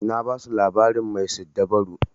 Na basu labarin mai siddabaru.